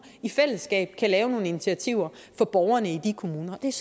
i fællesskab kan tage nogle initiativer for borgerne i de kommuner det er